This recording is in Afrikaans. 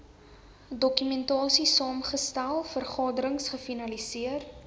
dokumentasiesaamgestel vergaderings gefasiliteer